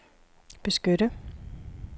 beskytte